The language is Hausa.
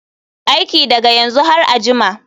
Aiki daga yanzu har a jima.